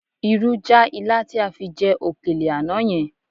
Irú já ilá tí a fi jẹ òkèlè àná yẹn